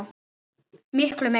Miklu meira